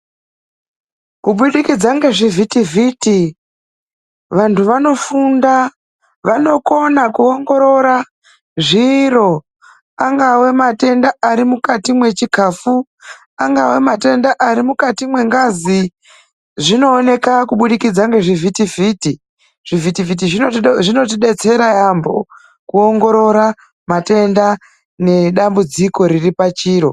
Kubudikidza ngezvivhiti vhiti ,vanhu vanokone kuhloya zviro angave matenda arimukati mwechikafu kana kuti mukati mwengazi. Zvinobuda ngekuda kwezvivhiti vhiti zvinotidetsera kuona nekuhloya matenda ari mukati mwezviro